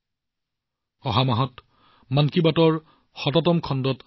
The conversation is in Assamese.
আমি অহা মাহত মন কী বাতৰ ১০০তম খণ্ডত পুনৰ লগ পাম